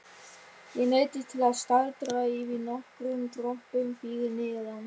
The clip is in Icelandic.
Ég neyddist til að staldra við nokkrum tröppum fyrir neðan.